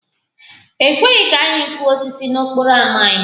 E kweghị ka anyị kụọ osisi n'okporo ámá anyị